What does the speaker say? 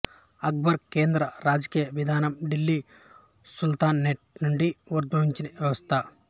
అక్బరు కేంద్ర రాజకీయ విధానం ఢిల్లీ సుల్తానేట్ నుండి ఉద్భవించిన వ్యవస్థ